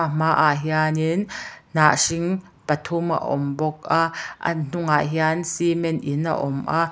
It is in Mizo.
hmaah hian in hnah hring pathum a awm bawk a an hnungah hian cement in a awm a.